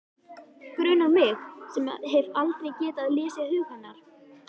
Grunar mig sem hef aldrei getað lesið hug hennar.